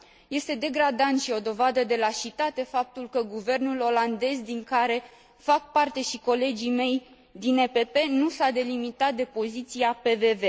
Este degradant și o dovadă de lașitate faptul că guvernul olandez, din care fac parte și colegii mei din PPE, nu s a delimitat de poziția PVV.